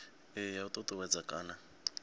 iyi ya u ṱuṱuwedza kana